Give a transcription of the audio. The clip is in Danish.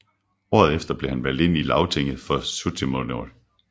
Året efter blev han valgt ind i Lagtinget for Suðurstreymoy